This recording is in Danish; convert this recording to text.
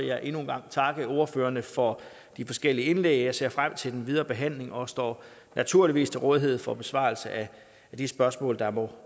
jeg endnu en gang takke ordførerne for de forskellige indlæg jeg ser frem til den videre behandling og står naturligvis til rådighed for besvarelse af de spørgsmål der måtte